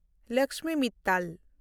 Lakshmi Mittal